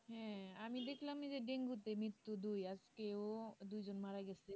হ্যাঁ আমি দেখলাম যে ডেঙ্গুতে মৃত্যু দুই আজকে ও দুই জন মারা গেছে